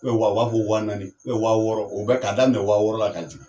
u b'a fɔ wa naani wa wɔɔrɔ o bɛɛ ka daminɛ wa wɔɔrɔ la ka jigin.